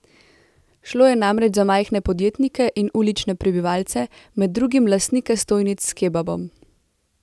Šlo je namreč za majhne podjetnike in ulične prebivalce, med drugim lastnike stojnic s kebabom.